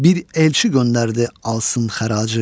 bir elçi göndərdi, alsın xəracı.